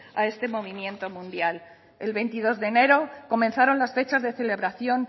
a este movimiento mundial el veintidós de enero comenzaron las fechas de celebración